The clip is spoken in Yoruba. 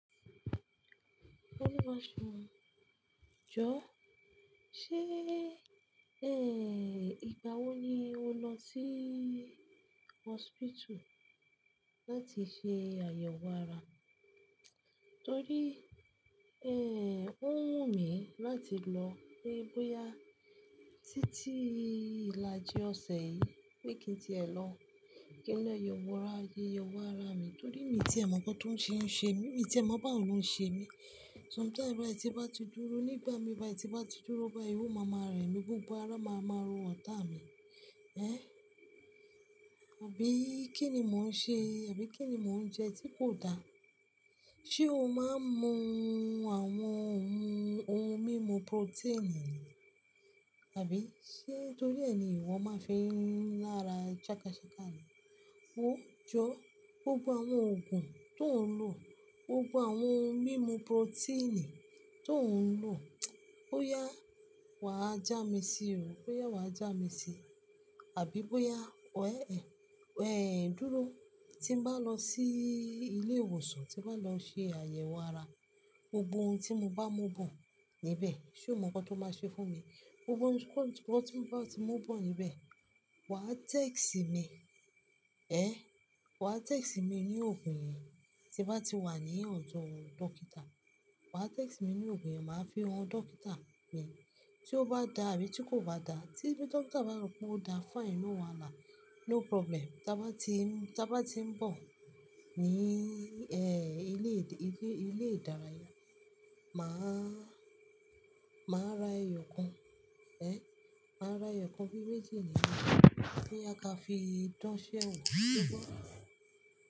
Olúwaṣùn, jọ, ṣe, eh, ìgbà wo ni o lọ sí hospital láti ṣe àyẹ̀wò ara? Torí, eh, ó wù mí láti lọ, pé bóyá títí ìlàjì ọ̀sẹ̀ yìí bi kì í ti è lọ kin lọ yọ wò ra yíyẹ wò ara mi. Torí mi ti è mọ̀ ọ́n tóun ṣe ń ṣe mí, mi ti è mọ̀ báwo ló ń ṣe mí. Sometimes bai, tí n bá ti dúró nígbà mi bai, tí n bá ti dúró bái, o màmá rẹ mi, gbogbo ara máa máa ro ọ̀tá mi. Ehn, àbí kíni mò ń ṣe? Àbí kíni mò ń jẹ tí kò da? Ṣé o máa ń mu àwọn ohun mímu proteini? Àbí sé torí ẹ ni ìwọ máa fi ń rún lára jákájáká ni? Ó jọ, gbogbo àwọn òògùn tó ń lò, gbogbo àwọn ohun mímu proteini tó ń lò, bóyá wà á já mi sí òo, bóyá wà á já mi sí, àbí bóyá wẹ ẹ, ọ̀ẹ dúró, tí n bá lọ sí ilé ìwòsàn, tí n bá lọ ṣe àyẹ̀wò ara, gbogbo ohun tí mo bá mú bọ̀ níbẹ̀, ṣé o mọ̀ ọ́n kan to má ṣe fún mi? Gbogbo ohun tí mo bá ti mú bọ̀ níbẹ̀, wà á text mi, ẹ, wà á text mi ní òògùn yẹn tí wà á ti wà ní ọ̀dọ̀ dọ́kítà. Wà á text mi ní òògùn yẹn, màá fi han dọ́kítà pèé. Tí ó bá da àbí tí kò bá da, tí dọ́kítà bá rò pé ó da fine no wahalà, no problem. Tí a bá ti ń, tí a bá ti ń bọ̀ ní, ẹ, ilé ìdárayá, màá, màá ra ẹyọ kan, ẹ, màá ra ẹyọ kan fún méjì níláà boya ki a fi dán ise ẹ̀wo.